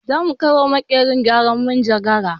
Za mu kai wa makerin gyaran manjagara